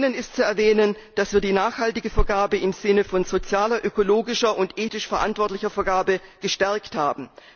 Zum einen ist zu erwähnen, dass wir die nachhaltige Vergabe im Sinne von sozialer, ökologischer und ethisch verantwortlicher Vergabe gestärkt haben.